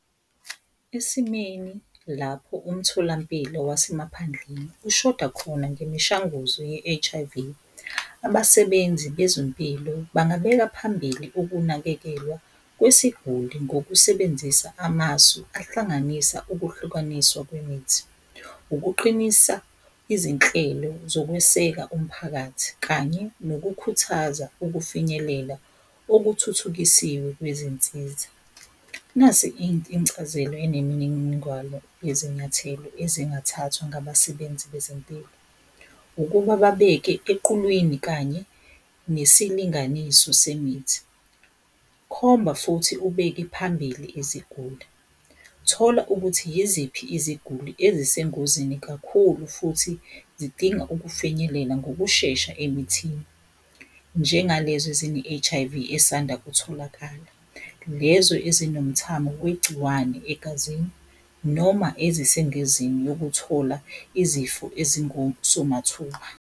Esimeni lapho umtholampilo wasemaphandleni ushoda khona ngemishanguzo ye-H_I_V, abasebenzi bezempilo bangabeka phambili ukunakekelwa kwesiguli ngokusebenzisa amasu ahlanganisa ukuhlukaniswa kwemithi, ukuqinisa izinhlelo zokweseka umphakathi kanye nokukhuthaza ukufinyelela okuthuthukisiwe kwezinsiza. Nasi incazelo enemininingwano yezinyathelo ezingathathwa ngabasebenzi bezempilo, ukuba babeke equlwini kanye nesilinganiso semithi. Khomba futhi ubeke phambili iziguli, thola ukuthi yiziphi iziguli ezisengozini kakhulu futhi zidinga ukufinyelela ngokushesha emithini. Njengalezo ezine-H_I_V esanda kutholakala, lezo ezinomthamo wegciwane egazini noma ezisengozini yokuthola izifo ezingosomathuba.